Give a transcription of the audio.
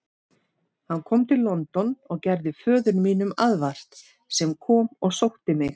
Hann kom til London og gerði föður mínum aðvart, sem kom og sótti mig.